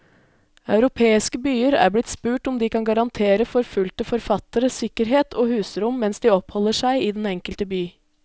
Europeiske byer er blitt spurt om de kan garantere forfulgte forfattere sikkerhet og husrom mens de oppholder seg i den enkelte by.